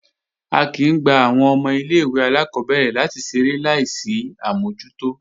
A kìí ń gba àwọn ọmọ ilé-ìwé alákọ́bẹ̀rẹ̀ láti ṣeré láì sí àmójútó